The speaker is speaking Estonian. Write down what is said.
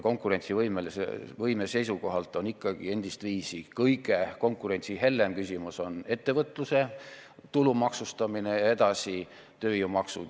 Konkurentsivõime seisukohalt on endistviisi kõige konkurentsihellem küsimus ettevõtluse tulumaksustamine ja edasi tööjõumaksud.